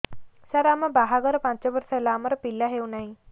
ସାର ଆମ ବାହା ଘର ପାଞ୍ଚ ବର୍ଷ ହେଲା ଆମର ପିଲା ହେଉନାହିଁ